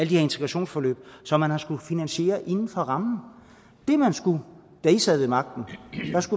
her integrationsforløb som man har skullet finansiere inden for rammen det man skulle da i sad ved magten